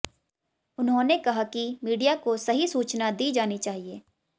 उन्होंने कहा कि मीडिया को सही सूचना दी जानी चाहिए